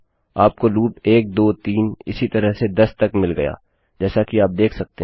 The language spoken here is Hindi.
आप को लूप 123 इसी तरह से 10 तक मिल गया जैसा कि आप देख सकते हैं